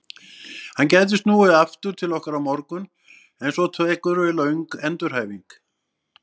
Hann gæti snúið aftur til okkar á morgun en svo tekur við löng endurhæfing.